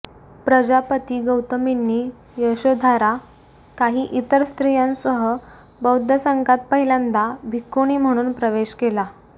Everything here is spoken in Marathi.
प्रजापती गौतमींनी यशोधरा काही इतर स्त्रियांसह बौद्ध संघात पहिल्यांदा भिक्खुणी म्हणून प्रवेश केला